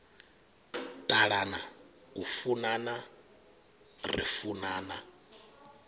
ṱalana u funana ri funana